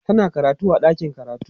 tana karatu a ɗakin karatu